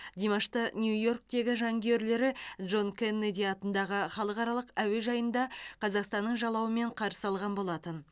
димашты нью йорктегі жанкүйерлері джон кеннеди атындағы халықаралық әуежайында қазақстанның жалауымен қарсы алған болатын